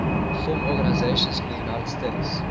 film organizations in the united states